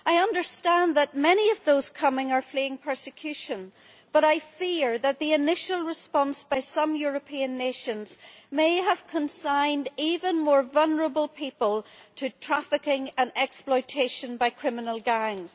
I understand that many of those coming are fleeing persecution, but I fear that the initial response by some European nations may have consigned even more vulnerable people to trafficking and exploitation by criminal gangs.